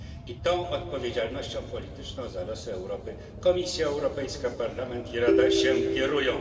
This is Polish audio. I tą odpowiedzialnością polityczną za losy Europy Komisja Europejska, Parlament i Rada się kierują.